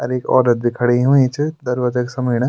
अर एक औरत भी खड़ी हुईं च दरवाजा क समिण।